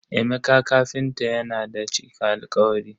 Emeka kafinta yana da cika alkawari.